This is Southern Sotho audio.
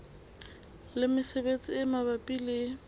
le mesebetsi e mabapi le